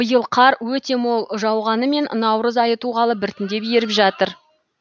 биыл қар өте мол жауғанымен наурыз айы туғалы біртіндеп еріп жатыр